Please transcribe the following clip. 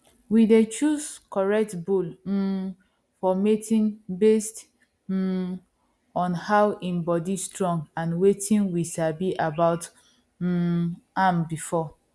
we dey choose correct bull um for mating based um on how im body strong and wetin we sabi about um am before